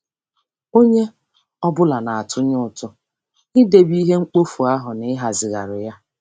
Onye ọ bụla na-atụnye ụtụ n'idebe ihe mkpofu ahụ na ịhazigharị ya.